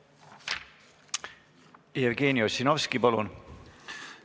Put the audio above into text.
Jevgeni Ossinovski, palun!